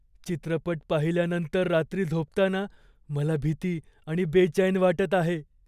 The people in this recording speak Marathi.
चित्रपट पाहिल्यानंतर रात्री झोपताना मला भीती आणि बेचैन वाटत आहे.